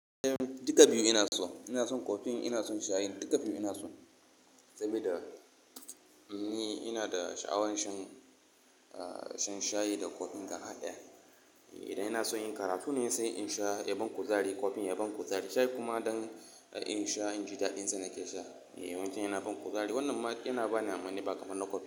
Duka biyu ina so. Ina son kofin, ina son shayin, duka biyu ina so. Sabida ni ina da sha'awan shan, ah, shan shayi da kofin gaba ɗaya. Eh, idan ina son in yin karatu ne sai in sha yaban kuzari, kofin yaban kuzari. Shayi kuma don in sha inji daɗin sa nake sha. Eh, wancan yana ban kuzari. Wannan ma yana bani amani ba kamar na kofi.